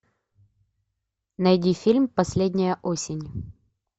найди фильм последняя осень